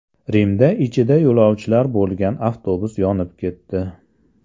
Rimda ichida yo‘lovchilar bo‘lgan avtobus yonib ketdi.